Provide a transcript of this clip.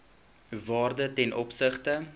waarde ten opsigte